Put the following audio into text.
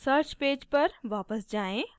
search page पर वापस जाएँ